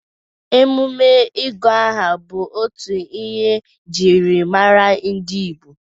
emume ịgụ aha bụ otu ihe ejiri mara ndị Igbo.